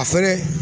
A fɛnɛ